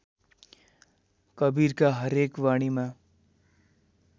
कवीरका हरेक वाणीमा